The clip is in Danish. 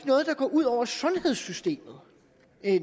noget der går ud over sundhedssystemet